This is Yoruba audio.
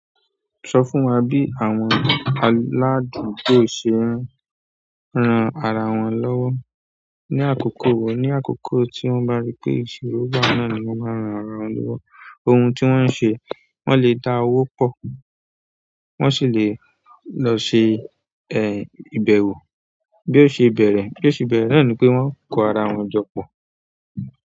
Sọ fún wa bí àwọn aládùúgbò ṣe ń ran ara wọn lọ́wọ́. Ni àkókò wò, ní àkókò tí wọ́n bá rí pé ìṣòro bá wọn nù, wọ́n máa ń ran ara wọn lọ́wọ́. Ohun tí wọ́n ń ṣe, wọ́n lè dá owó pọ̀, wọ́n sì lè lọ ṣe, ẹ, ìbẹ̀wọ̀. Bí ó ṣe bẹ̀rẹ̀, bí ó ṣe bẹ̀rẹ̀ náà ni pé wọ́n ń kó ara wọn jọ pọ̀.